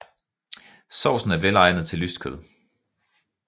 Sovsen er velegnet til lyst kød